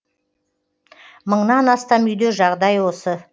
мыңнан астам үйде жағдай осы